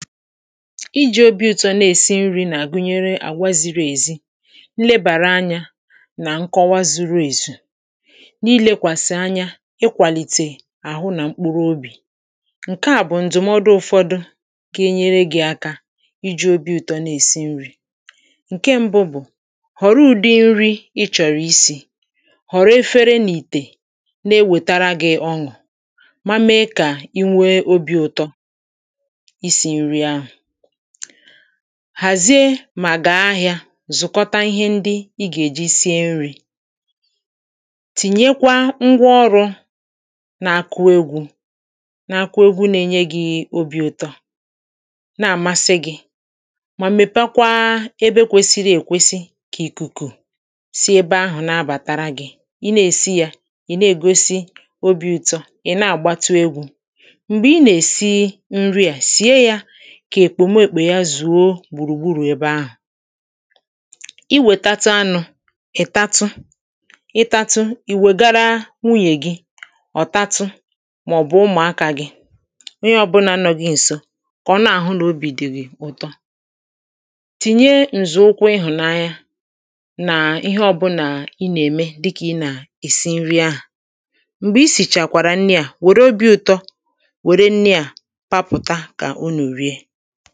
iji̇ obi̇ ụtọ na-èsi nri̇ na gụnyere àwaziri èzi nlebàra anyȧ nà nkọwa zuru èzì niilėkwàsị̀ anya ịkwàlìtè àhụ nà mkpụrụ obì ǹke à bụ̀ ǹdụ̀mọdụ ụ̇fọdụ ka enyere gị̇ aka iji̇ obi̇ ụtọ na-èsi nri̇ ǹke mbụ̇ bụ̀ họ̀rọ ụ̀dị nri ị chọ̀rọ̀ isi̇ họ̀rọ̀ efere n’ìtè na-ewètara gị̇ ọṅụ̀ hàzie mà gà ahị̇ȧ zụ̀kọta ihe ndị ị gà-èji sie nri̇ tìnyekwa ngwa ọrụ̇ na-àkụ egwu̇ na-akụ egwu̇ nà-ènye gị̇ obi̇ ụtọ na-àmasị gị̇ mà m̀mèpekwa ebe kwesiri èkwesi kà ìkùkù sie ebe ahụ̀ na-abàtara gị̇ ị na-èsi yȧ ị na-ègosi obi̇ ụ̇tọ̇ ị̀ na-àgbatụ egwu̇ m̀gbè ị nà-èsi nri à sie yȧ kà èkpòme èkpò ya zùo gbùrùgburù ebe ahụ̀ i wètatụ anụ̇ ìtatụ ịtatụ ì wègara nwunyè gị ọ̀tatụ màọ̀bụ̀ ụmụ̀akȧ gị onye ọ bụ n’anọ̇ gị ǹso kà ọ na-àhụ nà obi̇ dị̀ gị̀ ụ̀tọ tìnye ǹzọ̀ụkwụ ịhụ̀nanya nà ihe ọbụlà ị nà-ème dịkà ị nà-èsi nri ahụ̀ m̀gbè i sìchàkwàrà nni à wère obi̇ ụtọ wère nni à papụ̀ta kà o nè è rie enyi